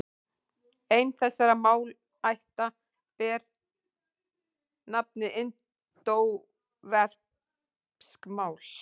Ein þessara málaætta ber nafnið indóevrópsk mál.